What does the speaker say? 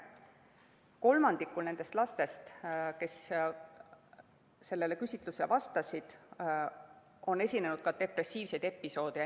Kolmandikul nendest lastest, kes sellele küsitlusele vastasid, on esinenud ka depressiivseid episoode.